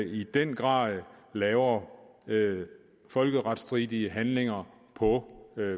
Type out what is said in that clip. i den grad laver folkeretstridige handlinger på